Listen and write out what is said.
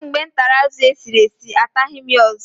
Kamgbe m tara azụ esiri esi, ataghị m ya ọzọ.